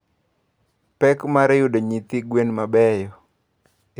Pek mar yudo nyithi gwen mabeyo.